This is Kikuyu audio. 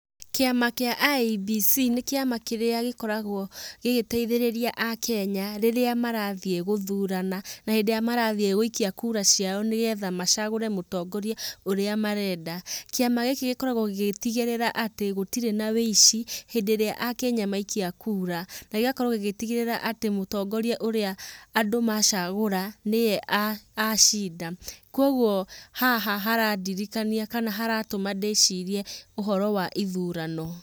Kĩama kĩa IEBC nĩ kĩama kĩrĩa gĩkoragwo gĩgĩteithĩrĩria aakenya rĩrĩa marathiĩ gũthurana na hĩndĩ ĩrĩa marathiĩ gũikia kura ciao nĩgetha macagũre mũtongoria ũrĩa marenda. Kĩama gĩkĩ gĩkoragwo gĩgĩtigĩrĩra atĩ gũtirĩ na wũici hĩndĩ ĩrĩa aakenya maikia kura na gĩgakorwo gĩgĩtigĩrĩra atĩ mũtongoria ũrĩa andũ macagũra nĩwe acinda. Koguo haha harandirikania kana haratũma ndĩcirie ũhoro wa ithurano.